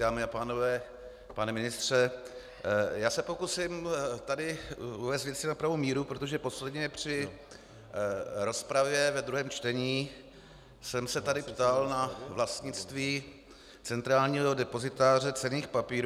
Dámy a pánové, pane ministře, já se pokusím tady uvést věci na pravou míru, protože posledně při rozpravě ve druhém čtení jsem se tady ptal na vlastnictví Centrálního depozitáře cenných papírů.